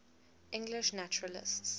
english naturalists